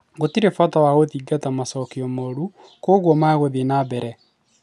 Gũtiri na bata wa kũthingata macokio mooru kwoguo mekũthii nambere